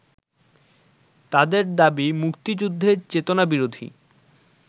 তাদের দাবী মুক্তিযুদ্ধের চেতনাবিরোধী